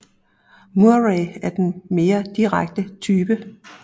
Murray er den mere direkte type